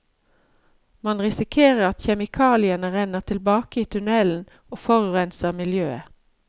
Man risikerer at kjemikaliene renner tilbake i tunnelen og forurenser miljøet.